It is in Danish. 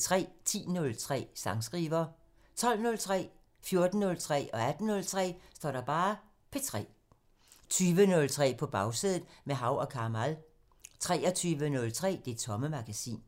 10:03: Sangskriver 12:03: P3 14:03: P3 18:03: P3 20:03: På Bagsædet – med Hav & Kamal 23:03: Det Tomme Magasin